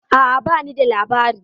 A'a ba ni da labari.